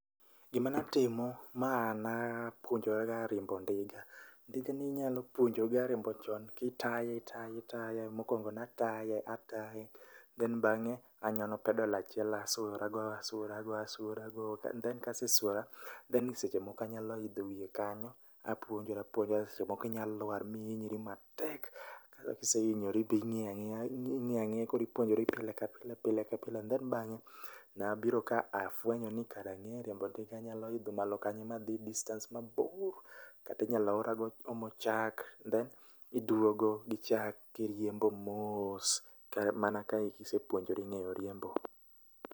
Gima natimo ma napuonjora ga riembo ndiga. Ndika inyalo puonjori riembo chon kitaye ,itaye, itaye. Mokuongo nataye, ataye then bang'e anyono pedal achiel asuora go ,asuora go, asuora go then kasesuora then seche moko anyalo idho wiye kanyo apuonjora, seche moko inya lwar mihinyre matek, koro kisehinyri be ing'iyo ang'iya koro ipuonjori pile ka pile, pile ka pile then bang'e nabiro kafwenyo ni kare ange riembo ndiga anya idho malo kanyo mahi distance mabor kata inyalo ora go omo chak and then iduogo gi chak kiriembo mos mana ka isepuonjori ngeyo riembo